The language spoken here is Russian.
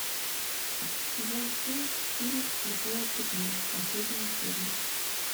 сезон семь фильм слепое пятно последняя серия